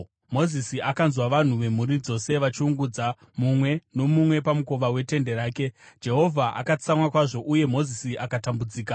Mozisi akanzwa vanhu vemhuri dzose vachiungudza, mumwe nomumwe pamukova wetende rake. Jehovha akatsamwa kwazvo, uye Mozisi akatambudzika.